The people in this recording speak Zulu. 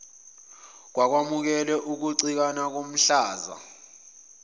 kwamukelwe ukucikana komhlaza